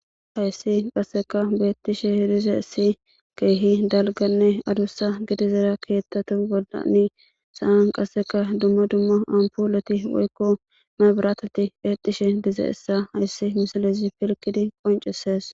Hayssi qasseka beettishe dize issi keehi dalganne adussa gidizera keettatu goldanni saan qasseka dumma dumma ampuloti woykko may biratati eddhishe dize issa hayssi misalezi pilgidi qoncisees.